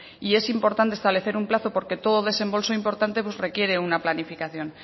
y es importante establecer un plazo porque todo desembolso importante pues requiere una planificación